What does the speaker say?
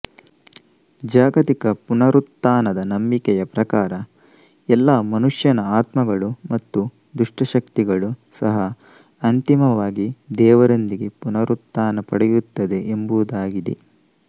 ಜಾಗತಿಕ ಪುನರುತ್ಥಾನದ ನಂಬಿಕೆಯ ಪ್ರಕಾರ ಎಲ್ಲಾ ಮನುಷ್ಯನ ಆತ್ಮಗಳು ಮತ್ತು ದುಷ್ಟಶಕ್ತಿಗಳು ಸಹ ಅಂತಿಮವಾಗಿ ದೇವರೊಂದಿಗೆ ಪುನರುತ್ಥಾನ ಪಡೆಯುತ್ತದೆ ಎಂಬುದಾಗಿದೆ